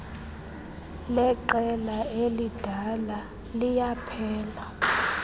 leqela elidala liyaphela